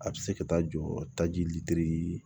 A bɛ se ka taa jɔ taji litiri